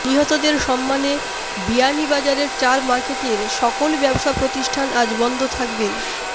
নিহতদের সম্মানে বিয়ানীবাজারের চার মার্কেটের সকল ব্যবসা প্রতিষ্ঠান আজ বন্ধ থাকবে